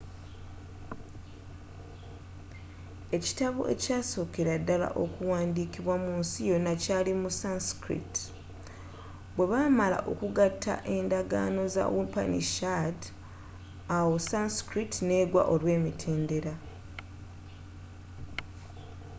ekitabo ekyasookera ddala okuwandiikibwa munsi yonna kyali mu sanskrit bwebaamala okugatagata endagaano za upanishad awo sanskrit n'eggwa olw'emitendera